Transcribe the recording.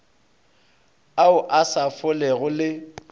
ao a sa folego le